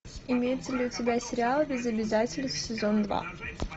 имеется ли у тебя сериал без обязательств сезон два